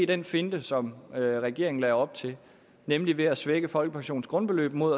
den finte som regeringen lagde op til nemlig at svække folkepensionens grundbeløb mod